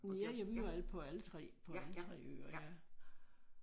Ja ja vi var alle på alle 3 på alle 3 øer ja